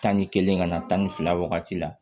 Tan ni kelen ka na tan ni fila wagati la